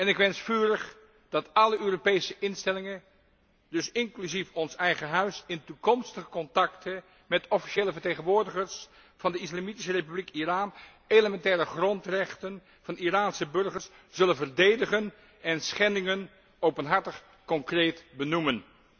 Ik wens vurig dat alle Europese instellingen, inclusief ons eigen Huis, in toekomstige contacten met officiële vertegenwoordigers van de islamitische Republiek Iran elementaire grondrechten van Iraanse burgers zullen verdedigen en schendingen openhartig concreet benoemen.